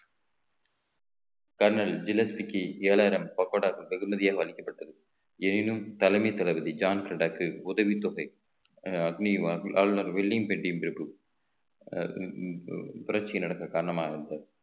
kernel ஜிலேஸ்க்கு ஏழாயிரம் பக்கோடாக்கள் வெகுமதியால் அளிக்கப்பட்டது எனினும் தலைமை தளபதி ஜான் ரெடடாக்கு உதவித்தொகை அக்னி ஆளுநர் வில்லிங் பிரபு புரட்சி நடத்த காரணமா இருந்த